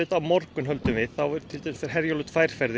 á morgun þá fer Herjólfur tvær ferðir